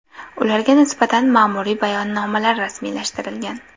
Ularga nisbatan ma’muriy bayonnomalar rasmiylashtirilgan.